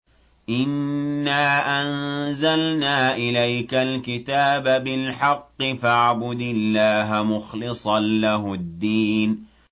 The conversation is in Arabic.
إِنَّا أَنزَلْنَا إِلَيْكَ الْكِتَابَ بِالْحَقِّ فَاعْبُدِ اللَّهَ مُخْلِصًا لَّهُ الدِّينَ